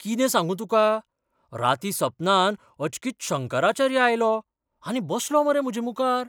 कितें सांगू तुका, रातीं सपनांत अचकीत शंकराचार्य आयलो आनी बसलो मरे म्हजे मुखार!